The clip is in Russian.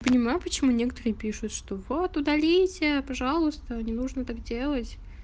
понимаю почему некоторые пишут что вот удалите пожалуйста не нужно так делать